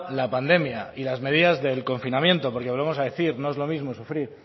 la pandemia y las medidas del confinamiento porque volvemos a decir no es lo mismo sufrir